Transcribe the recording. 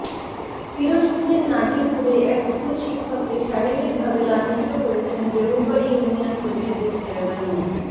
পিরোজপুরের নাজিরপুরে এক স্কুল শিক্ষককে শারীরিক ভাবে লাঞ্ছিত করেছেন দেউলবাড়ি ইউনিয়ন পরিষদের চেয়ারম্যান মো